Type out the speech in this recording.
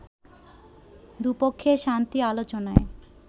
দুপক্ষের শান্তি আলোচনায়